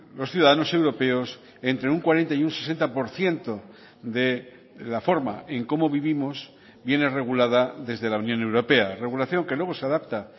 los ciudadanos europeos entre un cuarenta y un sesenta por ciento de la forma en cómo vivimos viene regulada desde la unión europea regulación que luego se adapta